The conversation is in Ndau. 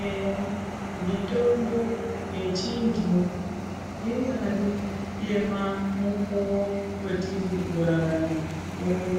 Eya mitombo yechindu inyari yemamukuwo wetiri kurarama uno